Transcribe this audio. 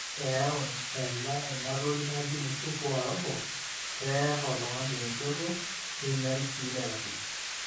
eyau ena ina toki naji msuko wa roho, eer oltung'ani enjoto neinyal sii ilairakuj